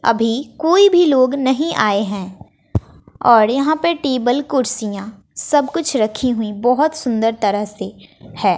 अभी कोई भी लोग नहीं आए हैं और यहां पे टेबल कुर्सियां सब कुछ रखी हुई बहुत सुंदर तरह से है।